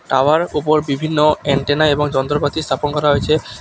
Tower ওপর বিভিন্ন antenna এবং যন্ত্রপাতি স্থাপন করা হয়েচে।